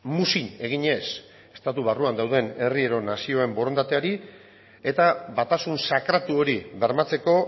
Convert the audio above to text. muzin eginez estatu barruan dauden herri edo nazioen borondateari eta batasun sakratu hori bermatzeko